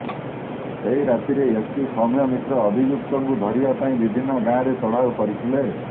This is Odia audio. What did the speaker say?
ସେହି ରାତିରେ ଏସ୍ପି ସୌମ୍ୟା ମିଶ୍ର ଅଭିଯୁକ୍ତଙ୍କୁ ଧରିବା ପାଇଁ ବିଭିନ୍ନ ଗାଁରେ ଚଢ଼ାଉ କରିଥିଲେ